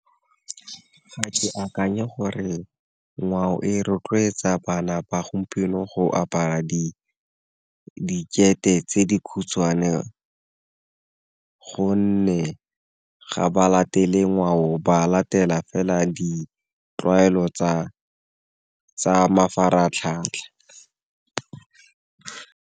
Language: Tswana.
Ga ke akanye gore ngwao e rotloetsa bana ba gompieno go apara dikete tse di khutshwane, gonne ga ba latele ngwao ba latela fela ditlwaelo tsa mafaratlhatlha.